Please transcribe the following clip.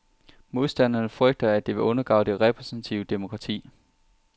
Modstanderne frygter, at det vil undergrave det repræsentative demokrati.